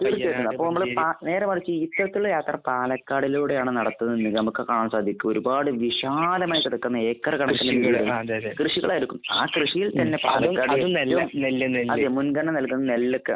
അപ്പോൾ നമ്മൾ കാ നേരെ മറിച്ച് ഇത്തരത്തിലുള്ള യാത്ര പാലക്കാടിലൂടെയാണ് നടത്തുന്നതെങ്കിൽ നമുക്ക് കാണാൻ സാധിക്കും ഒരുപാട് വിശാലമായി കിടക്കുന്ന ഏക്കർ കണക്കിന് കൃഷി അതെ. മുൻഗണന നൽകുന്നത് നെല്ല് ഒക്കെ.